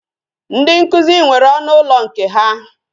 Ndị nkụzi nwere ọnụ ụlọ nke ha